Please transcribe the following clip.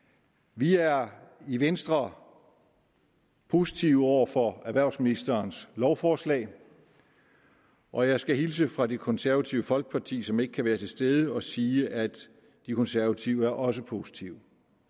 vi er i venstre positive over for erhvervsministerens lovforslag og jeg skal hilse fra det konservative folkeparti som ikke kan være til stede og sige at de konservative også er positive